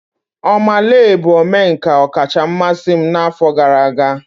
Oma Lee bụ omenka ọkacha mmasị m n'afọ gara aga.